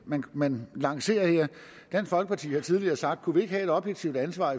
man lancerer her dansk folkeparti har tidligere sagt kunne vi ikke have et objektivt ansvar